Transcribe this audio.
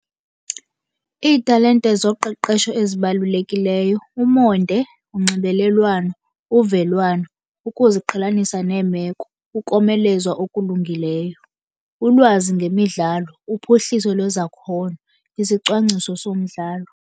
Iitalente zoqeqesho ezibalulekileyo umonde, unxibelelwano, uvelwano ukuziqhelanisa neemeko, ukomelezwa okulungileyo, ulwazi ngemidlalo, uphuhliso lwezakhono, isicwangciso somdlalo.